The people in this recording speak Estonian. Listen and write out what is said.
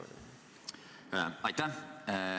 Aitäh!